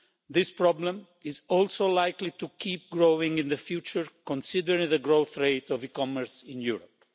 This problem is also likely to keep growing in future, considering the growth rate of e commerce in Europe.